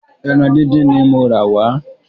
Ẹran dídín ní mo rà wà